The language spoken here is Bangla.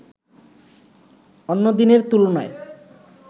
অন্য দিনের তুলনায়